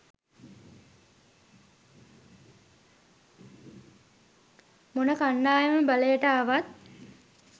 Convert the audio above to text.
මොන කණ්ඩායම බලයට ආවත්.